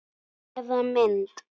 Eða mynd.